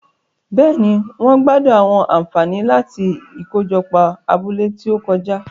Béèni, wón gbádùn àwọn ànfàní láti ikojopo abúlé ti o kọjá